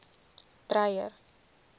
dreyer